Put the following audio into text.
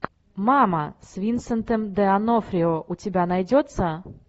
мама с винсентом д онофрио у тебя найдется